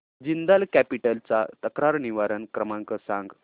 Jindal capital चा तक्रार निवारण क्रमांक सांग